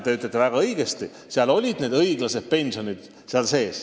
Te ütlesite väga õigesti, et harta näeb ette õiglased pensionid.